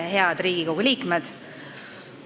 Head Riigikogu liikmed!